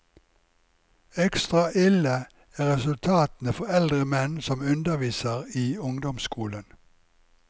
Ekstra ille er resultatene for eldre menn som underviser i ungdomsskolen.